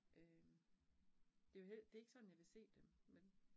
Øh det jo, det ikke sådan, jeg vil se dem, men